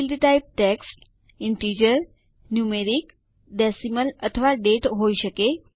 field types text integer numeric decimal અથવા date હોય શકે